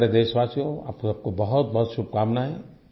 मेरे प्यारे देशवासियो आपको बहुतबहुत शुभकामनायें